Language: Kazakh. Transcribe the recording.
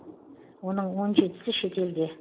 оның он жетісі шетелде